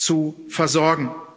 zu versorgen.